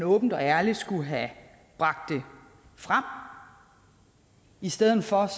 åbent og ærligt skulle have bragt det frem i stedet for